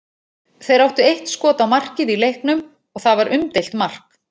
Þeir áttu eitt skot á markið í leiknum og það var umdeilt mark.